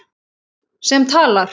Sem talar.